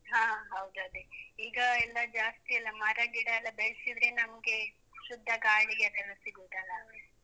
ಹಾ ಹೌದದೇ. ಈಗ ಎಲ್ಲಾ ಜಾಸ್ತಿ ಎಲ್ಲ ಮರ ಗಿಡ ಎಲ್ಲ ಬೆಳೆಸಿದ್ರೆ ನಮ್ಗೆ ಶುದ್ಧ ಗಾಳಿ ಅದೆಲ್ಲ ಸಿಗುದಲ್ಲ?